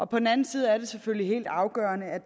på den anden side er det selvfølgelig helt afgørende at